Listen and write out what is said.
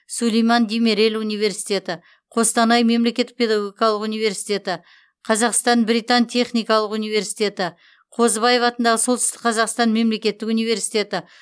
сүлейман демирел университеті қостанай мемлекеттік педагогикалық университеті қазақстан британ техникалық университеті қозыбаев атындағы солтүстік қазақстан мемлекеттік университеті